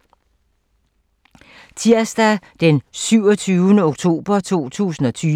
Tirsdag d. 27. oktober 2020